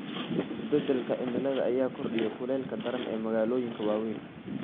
Isbeddelka cimilada ayaa kordhiyay kuleylka daran ee magaalooyinka waaweyn.